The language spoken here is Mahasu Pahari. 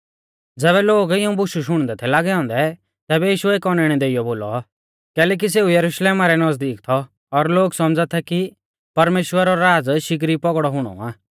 ज़ैबै लोग इऊं बुशु शुणदै थै लागै औन्दै तैबै यीशुऐ एक औनैणै देइयौ बोलौ कैलैकि सेऊ यरुशलेम रै नज़दीक थौ और लोग सौमझ़ा थै कि परमेश्‍वरा रौ राज़ शिगरी पौगड़ौ हुणौ आ